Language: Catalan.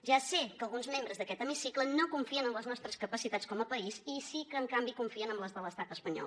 ja sé que alguns membres d’aquest hemicicle no confien en les nostres capacitats com a país i sí que en canvi confien en les de l’estat espanyol